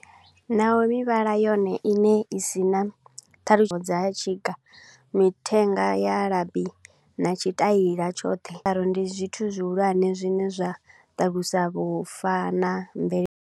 Naho mivhala yone iṋe i si na thaidzo dza tshika, mithenga ya labi na tshi taila tshoṱhe. Ndi zwithu zwihulwane zwi ne zwa ṱalusa vhufa na mvele.